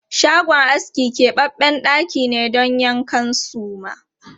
Shagon aski kebabben ɗaki ne don yankan suma.